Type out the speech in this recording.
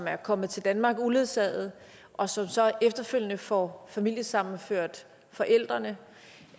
er kommet til danmark uledsaget og så efterfølgende får familiesammenført forældrene